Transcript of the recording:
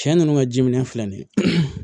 Cɛ nunnu ka ji minɛn filɛ nin ye